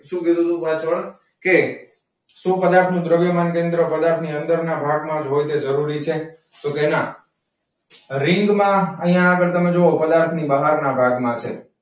સુ કીધું તું પાછળ? કે શું પદાર્થ મિત્રો દ્રવ્યમાન કેન્દ્ર ની અંદર ના ભાગ માં જ હોય તે જરૂરી છે? તો કે ના રીંગ માં અહીંયા આગડ તમે જોવો પદાર્થ ની બહાર ના ભાગ માં છે.